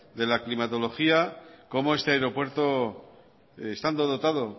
de la climatología cómo este aeropuerto estando dotado